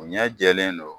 U ɲɛ jɛlen don